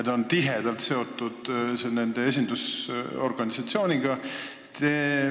Ta on tihedalt seotud nende esindusorganisatsiooniga.